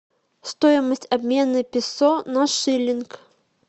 стоимость обмена песо на шиллинг